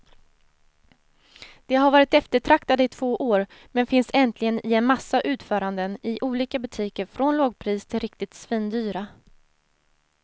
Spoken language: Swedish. De har varit eftertraktade i två år, men finns äntligen i en massa utföranden i olika butiker från lågpris till riktigt svindyra.